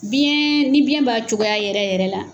Biyɛn ni biyɛn b'a cogoya yɛrɛ yɛrɛ la